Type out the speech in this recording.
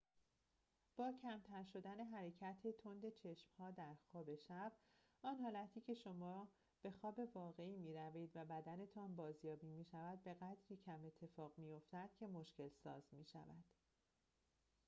با کمتر شدن حرکت تند چشم‌ها در خواب شب آن حالتی که شما به خواب واقعی می‌روید و بدنتان بازیابی می‌شود بقدری کم اتفاق می‌فاتد که مشکل‌ساز می‌شود